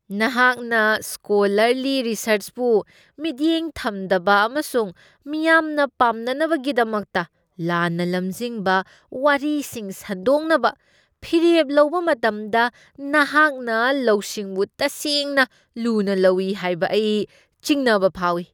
ꯅꯍꯥꯛꯅ ꯁ꯭ꯀꯣꯂꯔꯂꯤ ꯔꯤꯁꯔꯆꯄꯨ ꯃꯤꯠꯌꯦꯡ ꯊꯝꯗꯕ ꯑꯃꯁꯨꯡ ꯃꯤꯌꯥꯝꯅ ꯄꯥꯝꯅꯅꯕꯒꯤꯗꯃꯛꯇ ꯂꯥꯟꯅ ꯂꯝꯖꯤꯡꯕ ꯋꯥꯔꯤꯁꯤꯡ ꯁꯟꯗꯣꯛꯅꯕ ꯐꯤꯔꯦꯞ ꯂꯧꯕ ꯃꯇꯝꯗ ꯅꯍꯥꯛꯅ ꯂꯧꯁꯤꯡꯕꯨ ꯇꯁꯦꯡꯅ ꯂꯨꯅ ꯂꯧꯏ ꯍꯥꯏꯕ ꯑꯩ ꯆꯤꯡꯅꯕ ꯐꯥꯎꯏ꯫